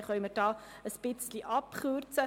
An diesem Punkt können wir ein wenig abkürzen.